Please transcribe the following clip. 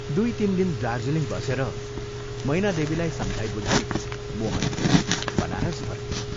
दुइ तीन दिन दार्जीलिङ बसेर मैनादेवीलाई सम्झाई बुझाई मोहन बनारस फक्यों।